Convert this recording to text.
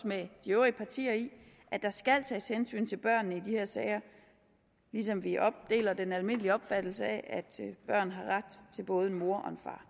med de øvrige partier i at der skal tages hensyn til børnene i de her sager ligesom vi deler den almindelige opfattelse af at børn har ret til både en mor og en far